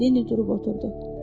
Leni durub oturdu.